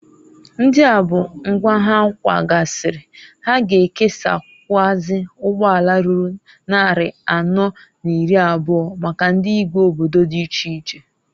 Ndia bu nkwa ha kwgasịrịː Ha ga ekesakwuazi ụgbọala ruru nnarị anọọ n'iri abọọ, maka ndị igwe obodo di iche iche.